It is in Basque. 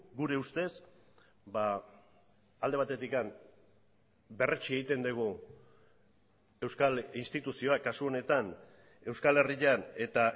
gure ustez alde batetik berretsi egiten dugu euskal instituzioak kasu honetan euskal herrian eta